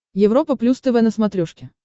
европа плюс тв на смотрешке